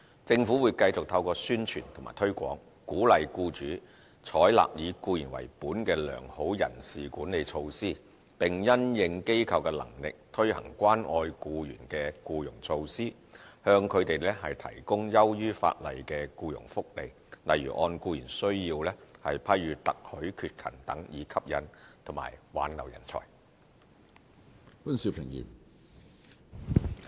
政府會繼續透過宣傳及推廣，鼓勵僱主採納"以僱員為本"的良好人事管理措施，並因應機構的能力，推行關愛僱員的僱傭措施，向他們提供優於法例的僱傭福利，例如按僱員需要批予特許缺勤等，以吸引及挽留人才。